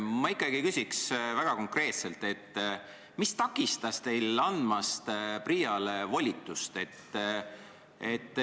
Ma ikkagi küsin väga konkreetselt, mis takistas teil PRIA-le volitust andmast.